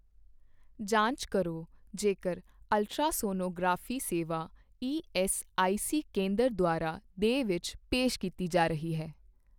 ਜਾਂਚ ਕਰੋ ਜੇਕਰ ਅਲਟਰਾਸੋਨੋਗ੍ਰਾਫੀ ਸੇਵਾ ਈਐੱਸਆਈਸੀ ਕੇਂਦਰ ਦੁਆਰਾ ਦੇ ਵਿੱਚ ਪੇਸ਼ ਕੀਤੀ ਜਾ ਰਹੀ ਹੈ।